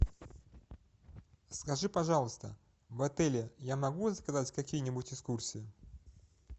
скажи пожалуйста в отеле я могу заказать какие нибудь экскурсии